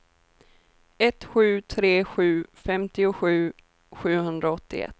ett sju tre sju femtiosju sjuhundraåttioett